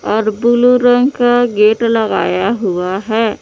और ब्लू रंग का गेट लगाया हुआ है।